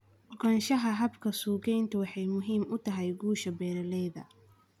Ogaanshaha hababka suuqgeyntu waxay muhiim u tahay guusha beeralayda.